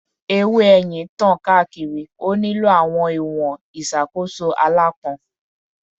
Ewe eyin tan kaakiri, o nilo awọn iwọn iṣakoso alãpọn